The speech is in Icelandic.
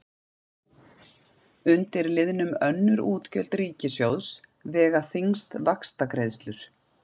Undir liðnum önnur útgjöld ríkissjóðs vega þyngst vaxtagreiðslur.